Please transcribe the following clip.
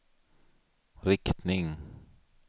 riktning